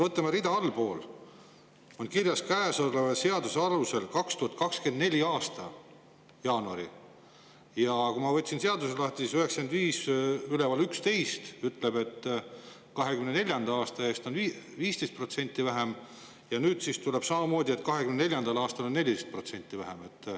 Võtame, rida allpool on kirjas: "Käesoleva seaduse alusel 2024. aasta jaanuari ", ja kui ma võtsin seaduse lahti, siis § 9511 ütleb, et 2024. aasta eest on 15% vähem, ja nüüd siis tuleb, et 2024. aastal 14% vähem.